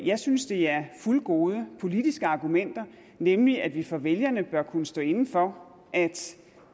jeg synes det er fuldgode politiske argumenter nemlig at vi over for vælgerne bør kunne stå inde for at